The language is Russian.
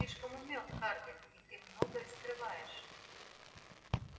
ты слишком умён хардин и ты многое скрываешь